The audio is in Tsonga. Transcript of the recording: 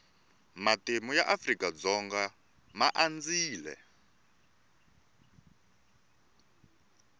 matimu ya afrika dzonga ma andzile